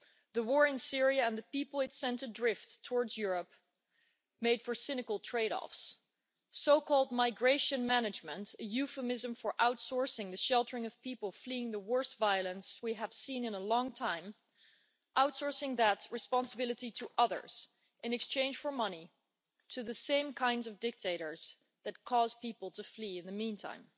The war in Syria and the people it sent adrift towards Europe made for cynical trade offs in the form of so called migration management' a euphemism for outsourcing the sheltering of people fleeing the worst violence we have seen in a long time, and outsourcing that responsibility to others in exchange for money, to the same kinds of dictators that caused people to flee in the meantime.